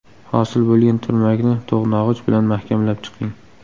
Hosil bo‘lgan turmakni to‘g‘nog‘ich bilan mahkamlab chiqing.